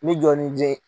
N bɛ jɔ n'i jeni